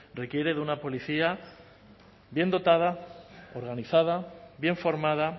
requiere de una policía bien dotada organizada bien formada